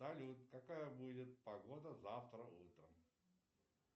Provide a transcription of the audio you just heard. салют какая будет погода завтра утром